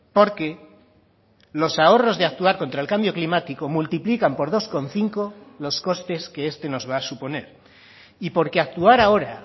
porque los ahorros de actuar contra el cambio climático multiplican por dos coma cinco los costes que este nos va a suponer y porque actuar ahora